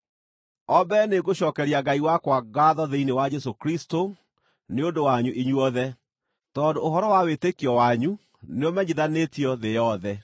O mbere nĩngũcookeria Ngai wakwa ngaatho thĩinĩ wa Jesũ Kristũ nĩ ũndũ wanyu inyuothe, tondũ ũhoro wa wĩtĩkio wanyu nĩũmenyithanĩtio thĩ yothe.